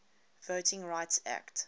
voting rights act